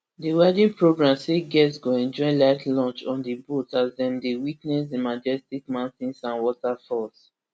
di wedding programme say guests go enjoy light lunch on di boat as dem dey witness di majestic mountains and waterfalls